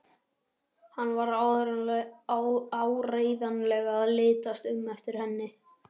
Hann var áreiðanlega að litast um eftir henni.